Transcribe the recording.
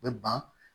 U bɛ ban